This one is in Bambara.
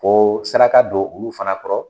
Ko saraka don olu fana kɔrɔ